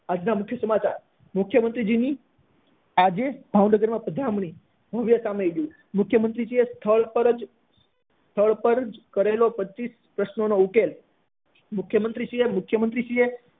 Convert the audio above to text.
આજ ના મુખ્ય સમાચાર મુખ્ય મંત્રી ની આજે ભાવનગર માં પધરામણી ભવ્ય સામૈયું મુખ્ય મંત્રી એ સ્થળ પર જ સ્થળ પર જ કરેલો પચીસ પ્રશ્નો નો ઉકેલ મુખ્ય મંત્રી શ્રી એ મુખ્યમંત્રી શ્રી એ